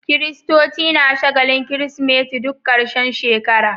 Kiristoci na shagalin kirismeti duk karshen shekara